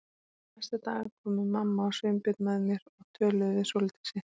Næsta dag komu mamma og Sveinbjörn með mér og töluðu við Sóldísi.